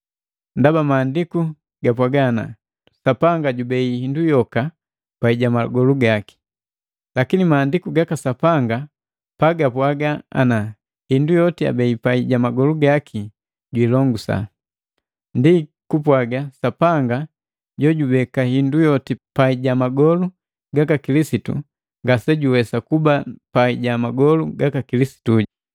Ndaba Maandiku gapwaga, “Sapanga jubei hindu yoka pai ja magolu gaki.” Lakini Mahandiku gaka Sapanga pagapwaaga ana, “Hindu yoti abei pai ja magolu gaki juilongusa,” ndi kupwaga Sapanga jojubeka hindu yoti pai ja magolu gaka Kilisitu ngasejuwesa kuba pai ja magolu gaka Kilisitu.